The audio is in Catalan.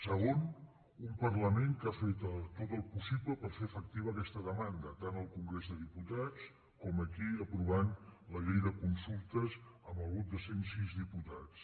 segon un parlament que ha fet tot el possible per fer efectiva aquesta demanda tant al congrés dels diputats com aquí aprovant la llei de consultes amb el vot de cent sis diputats